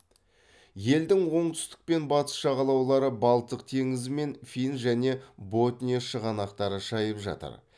елдің оңтүстік пен батыс жағалаулары балтық теңізі мен фин және ботния шығанақтары шайып жатыр